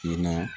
I na